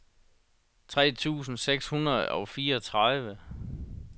tre tusind seks hundrede og fireogtredive